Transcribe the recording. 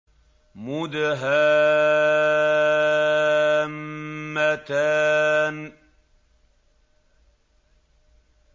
مُدْهَامَّتَانِ